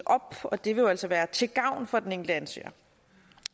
op og det vil jo altså være til gavn for den enkelte ansøger